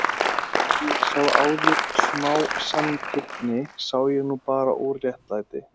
Ef ég sá áður smá sanngirni sá ég nú bara óréttlæti.